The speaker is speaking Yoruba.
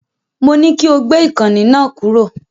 Mo ní kí o gbé ìkànnì náà kúrò.